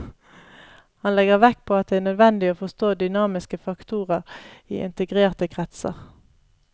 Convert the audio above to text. Han legger vekt på at det er nødvendig å forstå dynamiske faktorer i integrerte kretser.